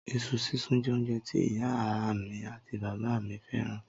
Iṣu sísun jẹ́ oúnjẹ tí ìyá a bàbá à mi fẹ́ràn jù